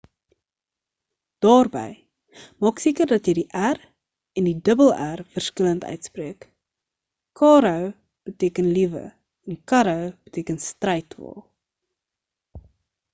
daarby maak seker dat jy die r en rr verskillend uitspreek caro beteken liewe en carro beteken strydwa